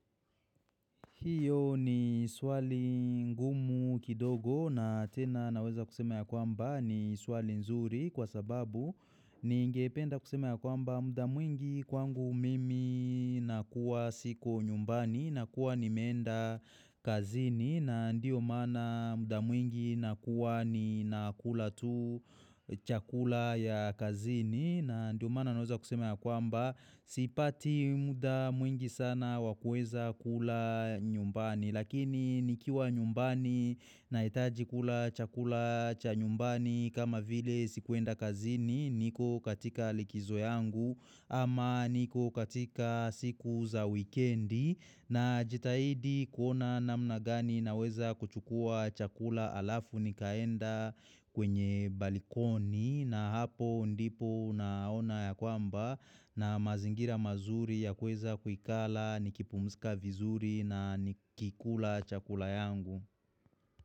Hiyo ni swali ngumu kidogo na tena naweza kusema ya kwamba ni swali nzuri kwa sababu ni ngependa kusema ya kwamba muda mwingi kwangu mimi nakuwa siko nyumbani na kuwa nimeenda kazini na ndiyo maana muda mwingi nakuwa ni nakula tu chakula ya kazini na ndiyo maana naweza kusema ya kwamba sipati muda mwingi sana wakuweza kula nyumbani Lakini nikiwa nyumbani na hitaji kula chakula cha nyumbani kama vile sikuenda kazini niko katika likizo yangu ama niko katika siku za wikendi na jitahidi kuona namna gani na weza kuchukua chakula alafu nikaenda kwenye balikoni na hapo ndipo naona ya kwamba na mazingira mazuri ya kuweza kuikala nikipumsika vizuri na nikikula chakula yangu.